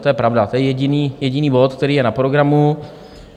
To je pravda, to je jediný bod, který je na programu.